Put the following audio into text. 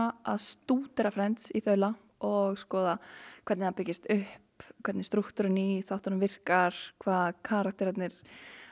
að stúdera í þaula og skoða hvernig það byggist upp hvernig strúktúrinn í þáttunum virkar hvað karakterarnir